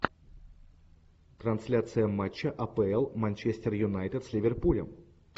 трансляция матча апл манчестер юнайтед с ливерпулем